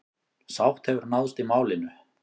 Sátt hefur náðst í málinu.